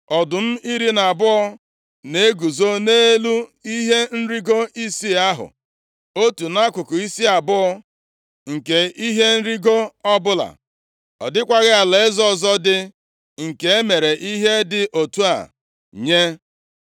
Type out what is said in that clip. Ọdụm iri na abụọ na-eguzo nʼelu ihe nrigo isii ahụ, otu nʼakụkụ isi abụọ nke ihe nrigo ọbụla. Ọ dịkwaghị alaeze ọzọ dị nke e mere ihe dị otu a nye.